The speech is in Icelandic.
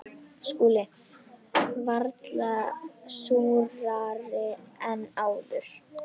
SKÚLI: Varla súrari en áður.